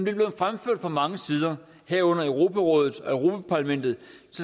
er blevet fremført fra mange sider herunder europarådet og europa parlamentet